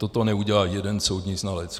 Toto neudělá jeden soudní znalec.